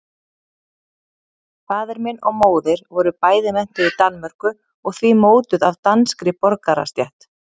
Faðir minn og móðir voru bæði menntuð í Danmörku og því mótuð af danskri borgarastétt.